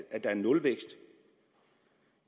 at der er nulvækst